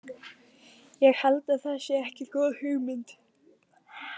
Ég held að það sé ekki góð hugmynd.